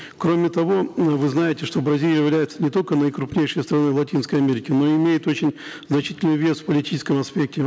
кроме того м вы знаете что бразилия является не только наикрупнейшей страной в латинской америке но и имеет очень значительный вес в политическом аспекте